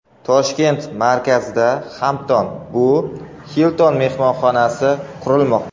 Toshkent markazida Hampton by Hilton mehmonxonasi qurilmoqda.